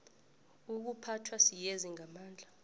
ukuphathwa siyezi ngamandla